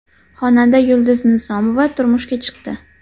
Xonanda Yulduz Nizomova turmushga chiqdi.